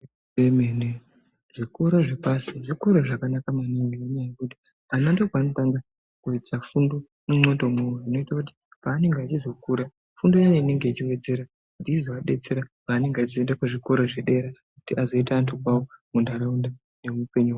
Zvemene zvikora zve pasi zvikora zvakanaka maningi ne nyaya yekuti ana ndo pavano kwanisa kuita fundo mu ndxondo mwawo zvinoita kuti pa anenge achizo kura fundo iyani inenge ichi wedzera kuti izova detsera panonga achizo enda ku zvikora zve dera kuti azoita antu kwavo mu ndaraunda ne mu upenyu hwawo.